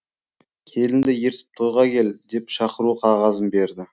келінді ертіп тойға кел деп шақыру қағазын берді